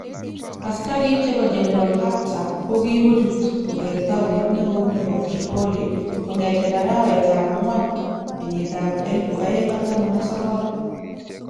Asikarik chebo General Hafter koki kochut koger townit neo nebo Tripoli kongeten arawet tab agwan 2019.